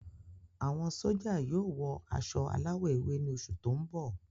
Àwọn sójà yóò wọ aṣọ aláwọ̀ ewé ni oṣù tó ń bọ